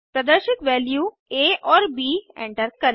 प्रदर्शित वैल्यूज आ और ब एंटर करें